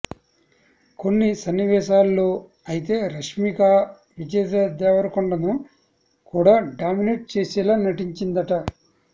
కొన్ని సన్నివేశాల్లో అయితే రష్మికా విజయ్ దేవరకొండను కూడా డామినేట్ చేసేలా నటిచిందట